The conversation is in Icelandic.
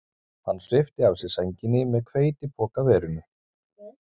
Hann svipti af sér sænginni með hveitipokaverinu